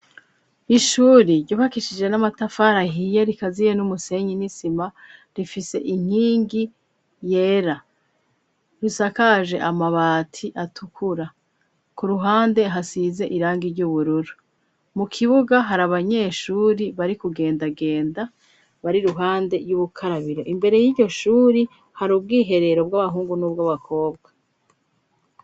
Ishuri ryubakishije n'amatafari ahiye rikaziye n'umusenyi n'isima, rifise inkingi yera, risakaje amabati atukura. Ku ruhande hasize irangi ry'ubururu. Mu kibuga hari abanyeshuri bari kugendagenda, bari iruhande y'ubukarabiro. Imbere y'iryo shuri hari ubwiherero bw'abahungu n'ubw' abakobwa.